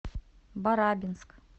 барабинск